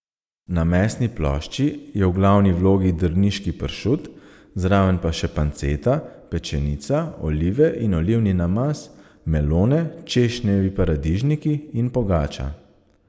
Na mesni plošči je v glavni vlogi drniški pršut, zraven pa še panceta, pečenica, olive in olivni namaz, melone, češnjevi paradižniki in pogača.